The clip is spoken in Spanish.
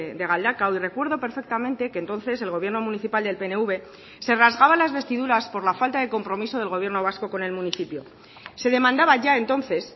de galdakao y recuerdo perfectamente que entonces el gobierno municipal del pnv se rasgaba las vestiduras por la falta de compromiso del gobierno vasco con el municipio se demandaba ya entonces